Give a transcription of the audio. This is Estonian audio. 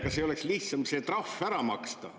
Kas ei oleks lihtsam see trahv ära maksta?